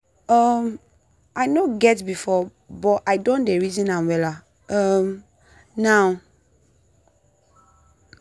um i no get before buh i don dey reason am wella um now.